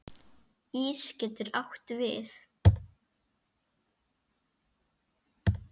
Ís getur átt við